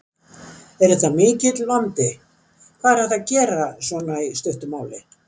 Er þetta mikill vandi, hvað er hægt að gera svona í stuttu máli?